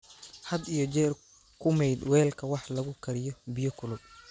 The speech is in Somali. Had iyo jeer ku maydh weelka wax lagu kariyo biyo kulul.